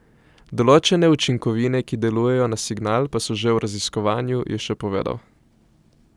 Določene učinkovine, ki delujejo na signal, pa so že v raziskovanju, je še povedal.